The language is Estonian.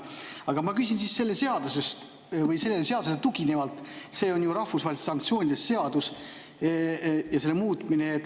Aga ma küsin sellele seadusele tuginevalt, mis on ju rahvusvahelise sanktsiooni seadus, ja seda muudetakse.